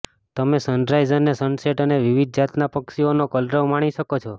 તમે સનરાઈઝ અને સનસેટ અને વિવિધ જાતના પક્ષીઓનો કલરવ માણી શકો છો